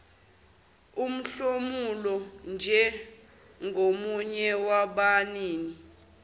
umhlomulo njengomunye wabanini